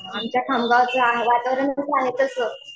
आमच्या खामगावचं वातावरण आहे तसं.